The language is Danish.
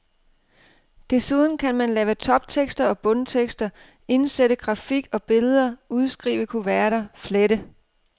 Desuden kan man lave toptekster og bundtekster, indsætte grafik og billeder, udskrive kuverter, flette.